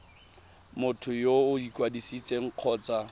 motho yo o ikwadisitseng kgotsa